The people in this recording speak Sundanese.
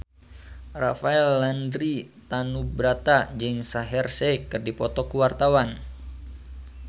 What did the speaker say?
Rafael Landry Tanubrata jeung Shaheer Sheikh keur dipoto ku wartawan